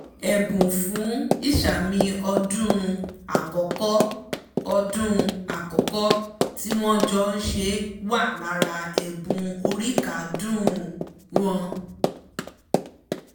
ẹ̀bùn fún ìsàmì ọdún ákọ́kọ́ ọdún ákọ́kọ́ tí wọn jọ ṣe wà lára ẹ̀bùn oríkádún ùn wọn